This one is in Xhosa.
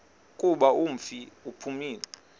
kuba umfi uphumile